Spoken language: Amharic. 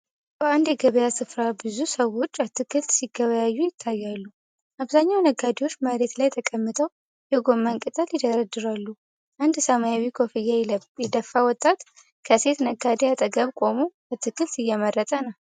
በአንድ የገበያ ስፍራ ብዙ ሰዎች አትክልት ሲገበያዩ ይታያሉ። አብዛኛው ነጋዴዎች መሬት ላይ ተቀምጠው የጎመን ቅጠል ይደረድራሉ። አንድ ሰማያዊ ኮፍያ የደፋ ወጣት ከሴት ነጋዴ አጠገብ ቆሞ አትክልት እየመረጠ ነው።